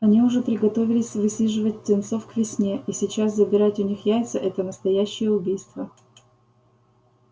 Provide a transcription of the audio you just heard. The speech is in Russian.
они уже приготовились высиживать птенцов к весне и сейчас забирать у них яйца это настоящее убийство